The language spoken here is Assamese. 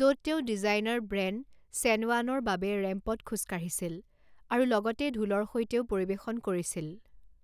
য'ত তেওঁ ডিজাইনাৰ ব্ৰেণ্ড চেনৱানৰ বাবে ৰেম্পত খোজ কাঢ়িছিল আৰু লগতে ঢোলৰ সৈতেও পৰিৱেশন কৰিছিল।